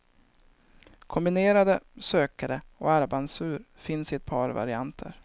Kombinerade sökare och armbandsur finns i ett par varianter.